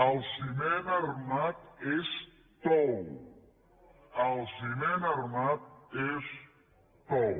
el ciment armat és tou el ciment armat és tou